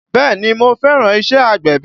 Bẹ́ẹ̀ni mo fẹ́ràn iṣẹ́ agbẹ̀bí